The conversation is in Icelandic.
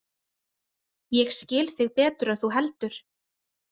Ég skil þig betur en þú heldur.